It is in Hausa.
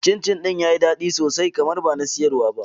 Cin cin ɗin yayi daɗi sosai kamar bana siyarwa ba